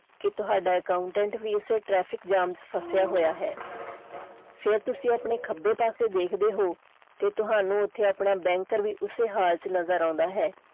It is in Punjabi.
ਕਿ ਤੁਹਾਡਾ accountant ਵੀ ਇਸੇ traffic jam ਚ ਫਸਿਆ ਹੋਇਆ ਹੈ ਫੇਰ ਤੁਸੀਂ ਆਪਣੇ ਖੱਬੇ ਪਾਸੇ ਦੇਖਦੇ ਹੋ ਤੇ ਤੁਹਾਨੂੰ ਓਥੇ ਆਪਣਾ banker ਵੀ ਉਸੇ ਹਾਲ ਚ ਨਜ਼ਰ ਆਉਂਦਾ ਹੈ।